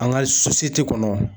An ka kɔnɔ